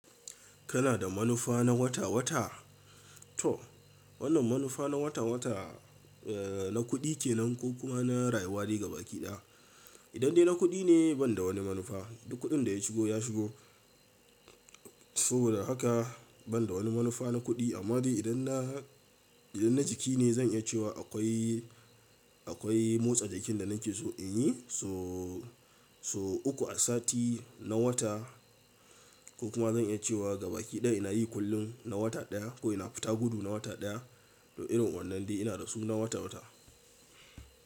Kana da manufa na wata-wata? To, wannan manufa na wata-wata, eh, na kuɗi ke nan ko kuma na rayuwa dai gaba ki ɗaya. Idan dai na kuɗi ne ban da wani manufa. Duk kuɗin da ya shigo ya shigo. Saboda haka ban da wani manufa na kuɗi. Amma dai idan na, idan na jiki ne zan iya cewa akwai, akwai motsa jikin da nake so in yi. So, so uku a sati na wata ko kuma zan iya cewa gaba ki ɗaya ina yi kullum na wata ɗaya ko ina fita gudu na wata ɗaya. To irin wannan dai ina da su na wata-wata.